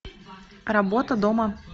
работа дома